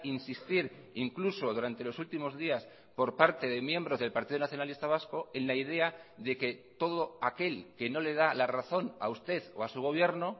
insistir incluso durante los últimos días por parte de miembros del partido nacionalista vasco en la idea de que todo aquel que no le da la razón a usted o a su gobierno